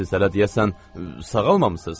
Siz hələ deyəsən sağalmamısınız.